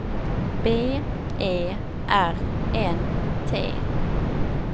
B E R N T